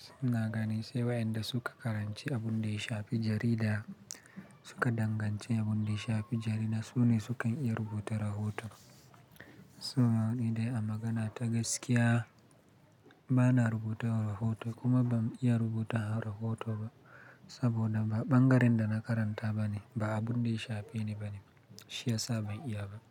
Sunna gani sai wayanda suka karanci abun da ya shafi jarida, suka danganci abun da ya shafi jarida, su ne sukan iya rubuta rahoto. So na ni dai a magana ta gaskiya bana rubuta rahoto kuma ba zan iya rubuta rahoto ba saboda ba ɓangaren da na karanta bane, ba abun da ya shafe ni bane. Shi yasa ban iya ba.